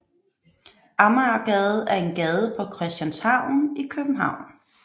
Amagergade er en gade på Christianshavn i København